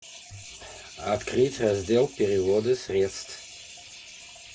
открыть раздел переводы средств